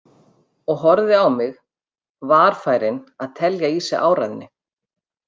Og horfði á mig, varfærin að telja í sig áræðni.